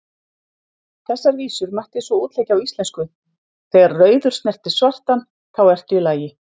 Þessar vísur mætti svo útleggja á íslensku: Þegar rauður snertir svartan, þá ertu í lagi,